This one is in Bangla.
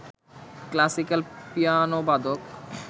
ক্ল্যাসিক্যাল পিয়ানোবাদক